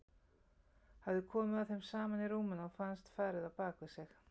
Hafði komið að þeim saman í rúminu og fannst farið á bak við sig.